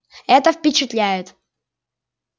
это впечатляет